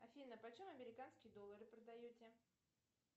афина почем американские доллары продаете